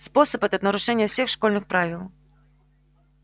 способ этот нарушение всех школьных правил